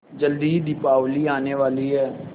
जल्दी ही दीपावली आने वाली है